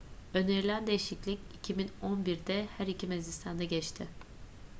önerilen değişiklik 2011'de her iki meclisten de geçti